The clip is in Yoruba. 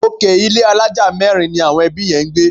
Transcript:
Òkè ilé àlája mẹ́rin ni àwọn ẹbí yẹn ń gbé